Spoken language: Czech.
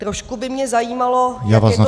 Trošku by mě zajímalo, jak je to s těmi -